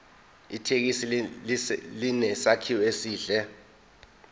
ithekisi inesakhiwo esihle